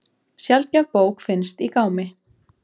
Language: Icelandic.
Sjaldgæf bók finnst í gámi